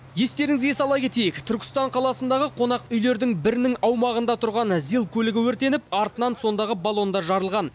естеріңізге сала кетейік түркістан қаласындағы қонақүйлердің бірінің аумағында тұрған зил көлігі өртеніп артынан сондағы баллондар жарылған